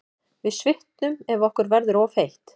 Við svitnum ef okkur verður of heitt.